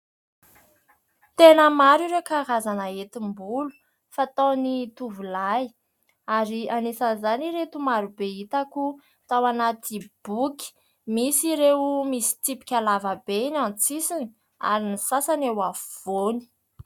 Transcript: Tena maro ireo karazana hetim- bolo fataon'ny tovolahy ary anisan'izany ireto marobe hitako tao anaty boky. Misy ireo misy tsipika lava be eny an- tsisiny, ary ny sasany eo afovoany.